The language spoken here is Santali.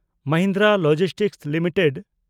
Mahindra logistics limited